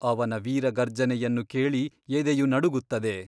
ಅವನ ವೀರ ಗರ್ಜನೆಯನ್ನು ಕೇಳಿ ಎದೆಯು ನಡುಗುತ್ತದೆ.